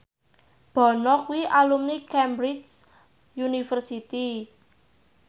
Bono kuwi alumni Cambridge University